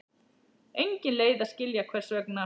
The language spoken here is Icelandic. Engin leið að skilja hvers vegna.